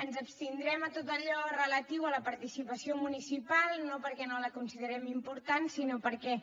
ens abstindrem en tot allò relatiu a la participació municipal no perquè no la considerem important sinó perquè